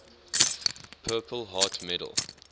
purple heart medal